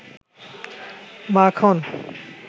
মাখন